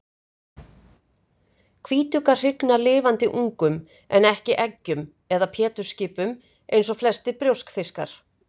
Hvítuggar hrygna lifandi ungum en ekki eggjum eða pétursskipum eins og flestir brjóskfiskar.